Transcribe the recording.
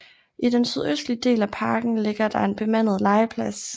I den sydøstlige del af parken ligger der en bemandet legeplads